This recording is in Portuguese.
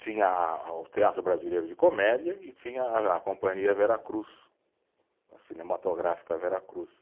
Tinha a, o Teatro Brasileiro de Comédia e tinha a a Companhia Veracruz, a Cinematográfica Veracruz.